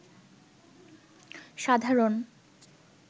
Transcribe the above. সাধারণ